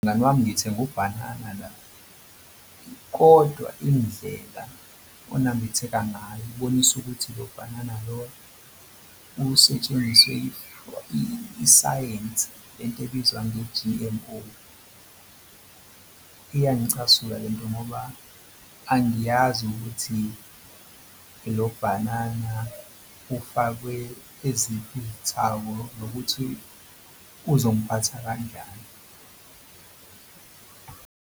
Mngani wami ngithenge ubhanana la kodwa indlela onambitheka ngayo kubonisa ukuthi lo bhanana lo usetshenziswe isayensi le nto ebizwa nge-G_M_O. Iyangicasula le nto ngoba angiyazi ukuthi lo bhanana ufakwe eziphi ithako nokuthi uzongiphatha kanjani.